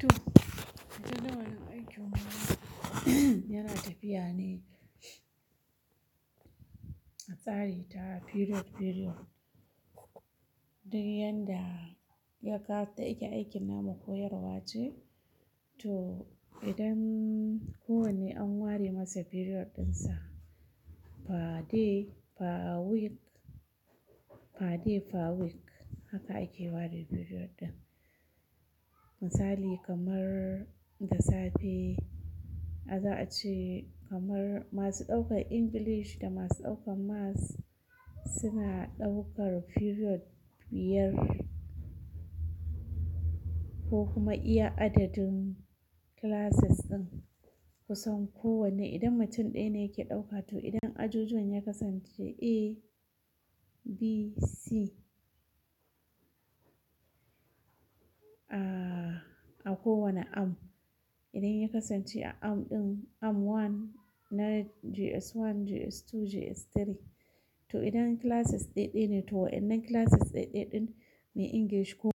To jadawalin aikin makaranta yana tafiya ne a tsari ta period-period, duk yanda ya ƙara ta ake aikin namu koyarwa ce. To idan ko wanne an ware masa period dinsa, per day, per week, per day, per week haka ake ware period ɗin. Misali kamar da safe, a za a ce kamar masu ɗaukar English da masu ɗaukar Maths suna ɗaukar period biyar ko kuma iya adadin classes ɗin, kusan kowanne idan mutum ɗaya ne yake ɗauka. To idan ajujuwan ya kasance A, B, C, ah a kowane arm, idan ya kasance a arm ɗin arm one, na JS1, JS2, JS3. To, idan classes ɗaya ɗaya ne, to wannan classes ɗaya ɗaya ɗin me English ko-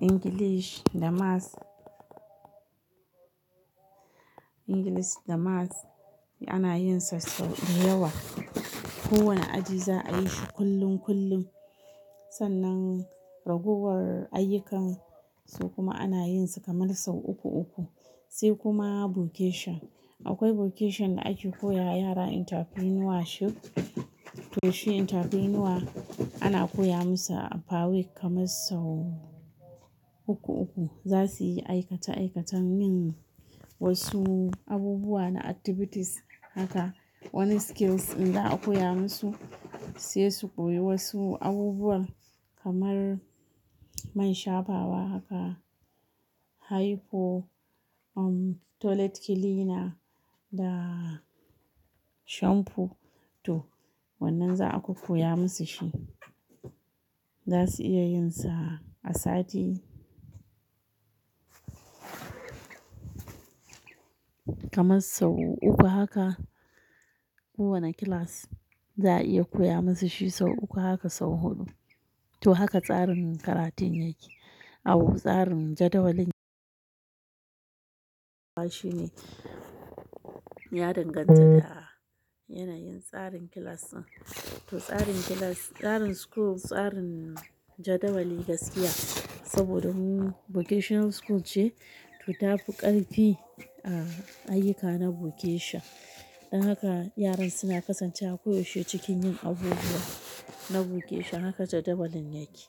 English da Maths, English da Maths ana yin sa sau da yawa. Kowane aji za a yi shi kullum-kullum. Sannan ragowar ayyukan su kuma ana yin su kamar sau uku uku. Sai kuma vocation. Akwai vocation da ake koya yara entrepreneurship. To shi entrepreneur ana koya musu per week kamar sau uku-uku. Za su yi aikata aikatan yin wasu abubuwa na activities haka. Wani skills inda aka koya musu, sai su koyi wasu abubuwa kamar man shafawa haka, hair fo- um toilet cleaner da shampoo. To wannan za a kokoya musu shi. Za su iya yin sa a sati kamar sau uku haka. Kowane class za a iya koya musu shi sau uku haka sau huɗu. To haka tsarin karatun yake. A uku tsarin jadawalin- shi ne ya danganta da yanayin tsarin class ɗin. To tsarin class, tsarin school, tsarin jadawali gaskiya saboda vocation school ce, to ta fi ƙarfi a ayyuka na vocation. Don haka yaran suna kasancewa koyaushe cikin yin abubuwa na vocation. Haka jadawalin yake.